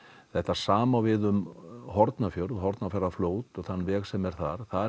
þetta sama á við um Hornafjörð og Hornafjarðarfljót og þann veg sem er þar þar